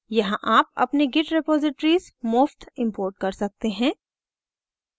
यहाँ आप अपनी git repositories मुफ़्त import कर सकते हैं